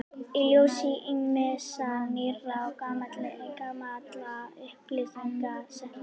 Í ljósi ýmissa nýrra og gamalla upplýsinga setti